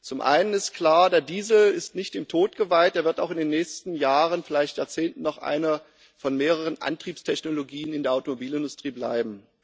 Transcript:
Zum einen ist klar Der Diesel ist nicht dem Tod geweiht, er wird auch in den nächsten Jahren, vielleicht Jahrzehnten noch eine von mehreren Antriebstechnologien in der Automobilindustrie bleiben.